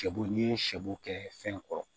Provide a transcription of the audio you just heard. Sɛbo n'i ye sɛbo kɛ fɛn kɔrɔ